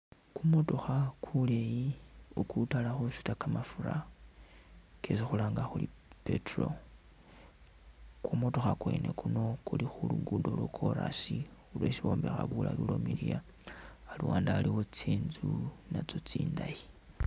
Kumutookha kuli kutala khusuta kamafura kesi khulanga khuri petrol kumutookha kwene kuuno kuli khulukuddo lwa'chorus lwesi bombekha bulaayi ulwamiliya, aluwande aliwo tsintsu natso tsindayi